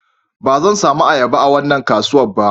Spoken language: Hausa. Ba zan samu ayaba a wannan kasuwan ba